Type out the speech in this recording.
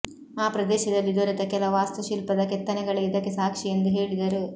ಆ ಪ್ರದೇಶದಲ್ಲಿ ದೊರೆತ ಕೆಲ ವಾಸ್ತುಶಿಲ್ಪದ ಕೆತ್ತನೆಗಳೇ ಇದಕ್ಕೆ ಸಾಕ್ಷಿ ಎಂದು ಹೇಳಿದರು